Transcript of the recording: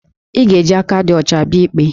Ị ga-eji aka dị ọcha bịa ikpe